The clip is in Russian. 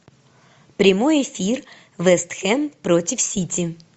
прямой эфир вест хэм против сити